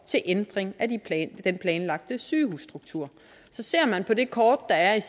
til ændring af den planlagte sygehusstruktur så ser man på det kort der er